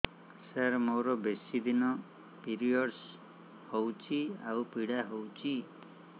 ସାର ମୋର ବେଶୀ ଦିନ ପିରୀଅଡ଼ସ ହଉଚି ଆଉ ପୀଡା ହଉଚି